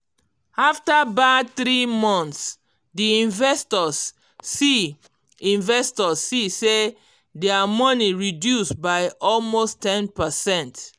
after bad three months d investors see investors see say dia money reduce by almost ten percent